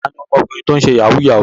Ta ni ọmọkùnrin tó ń ṣe yahoo yahoo?